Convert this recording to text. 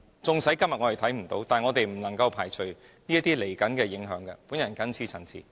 縱使今天看不見，但我們不能排除出現這些潛在影響的可能性。